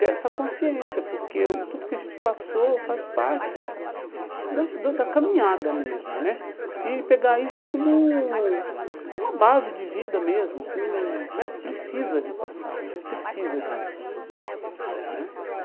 ter essa consciência, porque eu tudo que a gente passou faz parte da da da caminhada mesmo né, e pegar isso como uma base de vida mesmo com né, precisa de passar, precisa disso né.